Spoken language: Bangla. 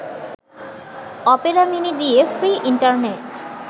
অপেরা মিনি দিয়ে ফ্রী ইন্টারনেট